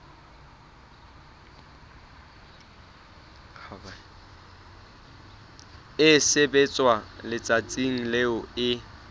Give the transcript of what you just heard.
e sebetswa letsatsing leo e